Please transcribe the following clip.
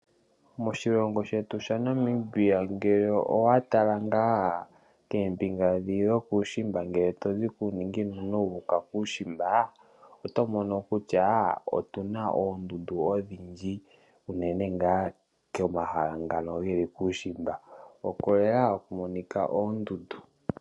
Moshilongo shetu shaNamibia ngele owa tala koombinga dho kuushimba tozi kuuninginino wuuka kuushimba oto mono kutya otuna oondundu odhindji. Komahala ngono gokuushimba oko lela haku monika oondundu.